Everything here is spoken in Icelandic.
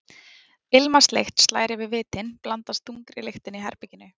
Ilmvatnslykt slær fyrir vitin, blandast þungri lyktinni í herberginu.